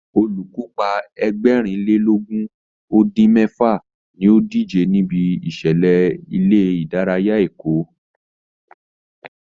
Olùkópa Ẹgbẹ̀rin lé lógún ó dín mẹ́fà ní ó díje níbi ìṣẹ̀lẹ̀ ilé ìdárayá Èkó